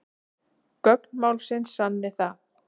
Gögn málsins sanni það